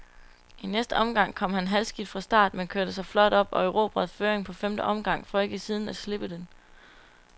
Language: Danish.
I næste omgang kom han halvskidt fra start, men kørte sig flot op og erobrede føringen på femte omgang, for ikke siden at slippe den.